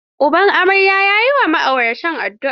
Uban amarya ya yi wa ma'auratan addua.